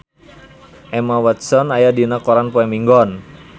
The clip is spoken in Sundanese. Emma Watson aya dina koran poe Minggon